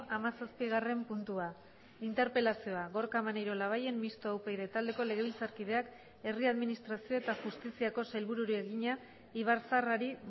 hamazazpigarren puntua interpelazioa gorka maneiro labayen mistoa upyd taldeko legebiltzarkideak herri administrazio eta justiziako sailburuari egina ibarzaharrari